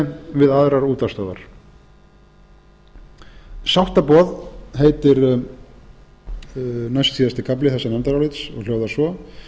né við aðrar útvarpsstöðvar sáttaboð heitir næstsíðasti kafli þessa nefndarálits og hljóðar svo